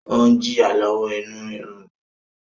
O n jìya lọwọ inú rírú